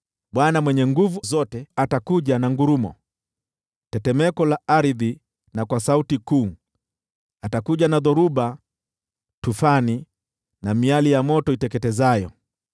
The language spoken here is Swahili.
Bwana Mwenye Nguvu Zote atakuja na ngurumo, tetemeko la ardhi, na kwa sauti kuu, atakuja na dhoruba, tufani na miali ya moto iteketezayo.